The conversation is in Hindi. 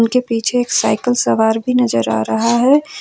के पीछे एक साइकल सवार भी नजर आ रहा हैं।